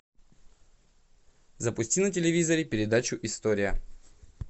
запусти на телевизоре передачу история